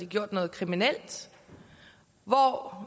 gjort noget kriminelt og